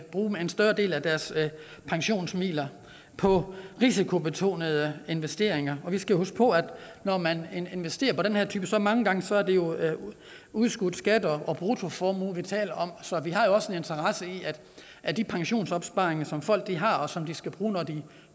bruge en større del af deres pensionsmidler på risikobetonede investeringer vi skal huske på at når man investerer på den her jo mange gange udskudt skat og bruttoformue vi taler om så vi har også en interesse i at de pensionsopsparinger som folk har og som de skal bruge når de